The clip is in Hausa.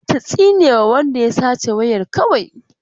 Za ta tsinewa wanda ya sace wayar kawai.